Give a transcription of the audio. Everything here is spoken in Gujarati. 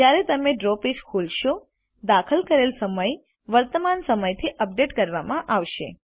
જ્યારે પણ તમે ડ્રો પેજ ખોલશો દાખલ કરેલ સમય વર્તમાન સમયથી અપડેટ કરવામાં આવશે